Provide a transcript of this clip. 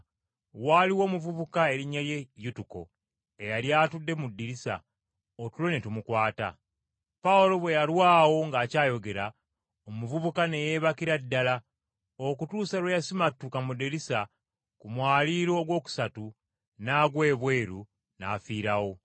Waaliwo omuvubuka erinnya lye Yutuko, eyali atudde mu ddirisa, otulo ne tumukwata. Pawulo bwe yalwawo ng’akyayogera, omuvubuka ne yeebakira ddala, okutuusa lwe yasimattuka mu ddirisa ku mwaliiro ogwokusatu n’agwa ebweru n’afiirawo.